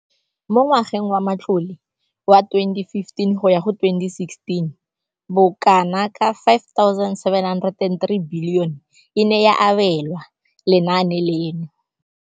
Mo ngwageng wa matlole wa 2015 le 2016, bokanaka R5 703 bilione e ne ya abelwa lenaane leno.